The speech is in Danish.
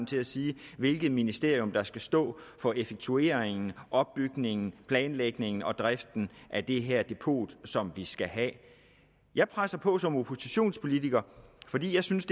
til at sige hvilket ministerium der skal stå for effektueringen opbygningen planlægningen og driften af det her depot som vi skal have jeg presser på som oppositionspolitiker fordi jeg synes